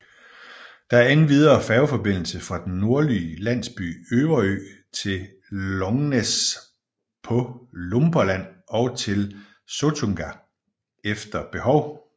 Der er endvidere færgeforbindelse fra den nordlige landsby Överö til Långnäs på Lumparland og til Sottunga efter behov